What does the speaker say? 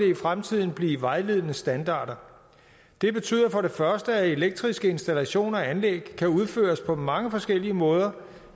i fremtiden blive vejledende standarder det betyder for det første at elektriske installationer og anlæg kan udføres på mange forskellige måder